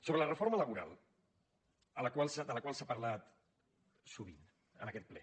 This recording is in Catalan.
sobre la reforma laboral de la qual s’ha parlat sovint en aquest ple